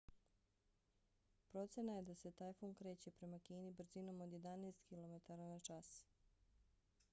procena je se da se tajfun kreće prema kini brzinom od jedanest km/h